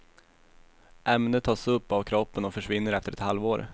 Ämnet tas upp av kroppen och försvinner efter ett halvår.